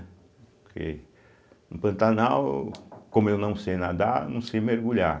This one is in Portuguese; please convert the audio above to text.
Porque no Pantanal, como eu não sei nadar, não sei mergulhar.